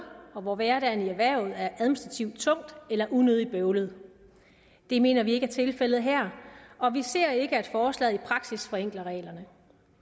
og hvor hverdagen i erhvervet er administrativt tung eller unødig bøvlet det mener vi ikke er tilfældet her og vi ser ikke at forslaget i praksis forenkler reglerne